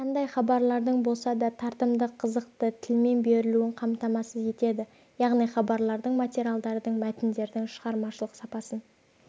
қандай хабарлардың болса да тартымды қызықты тілмен берілуін қамтамасыз етеді яғни хабарлардың материалдардың мәтіндердің шығармашылық сапасын